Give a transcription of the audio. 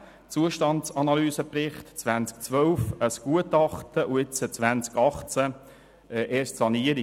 2010: Zustandsanalysebericht, 2012: Gutachten und jetzt, im Jahr 2018: Sanierung.